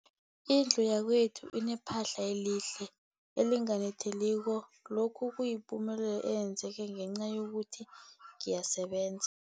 Indlu yakwethu inephahla elihle, elinganetheliko, lokhu kuyipumelelo eyenzeke ngenca yokuthi ngiyasebenza.